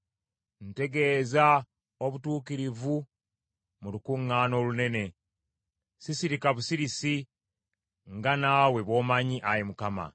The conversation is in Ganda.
Ntegeeza obutuukirivu mu lukuŋŋaana olunene. Sisirika busirisi, nga naawe bw’omanyi, Ayi Mukama .